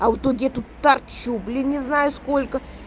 а вот тут где тут торчу блин не знаю сколько